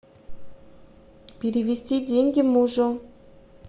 перевести деньги мужу